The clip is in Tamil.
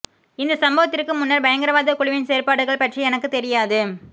இந்த சம்பவத்திற்கு முன்னர் பயங்கரவாத குழுவின் செயற்பாடுகள் பற்றி எனக்கு தெரியாது